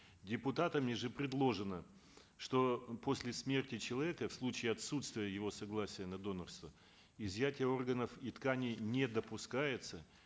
депутатами же предложено что после смерти человека в случае отсутствия его согласия на донорство изъятие органов и тканей не допускается